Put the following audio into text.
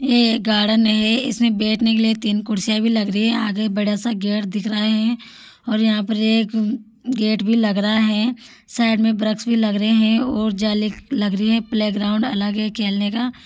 यह गार्डन है इसमें बेठने के लिए तीन कुर्सियां भी लग रही है आगे बड़ा सा गेट दिख रहा है और यहाँ पे एक गेट भी लग रहा है साईड में ब्रिक्स भी लग रहे है और जाली लग रही है प्लेग्राउंड अलग है खेलने का।